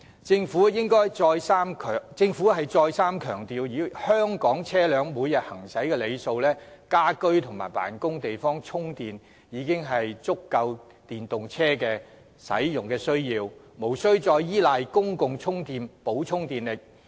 政府再三強調，以香港車輛每日行駛的里數而言，家居或辦公室的充電設施已足以應付電動車的需要，無須再依賴公共充電設施以補充電力。